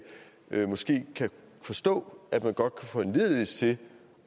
kan forstå at man godt kan foranlediges til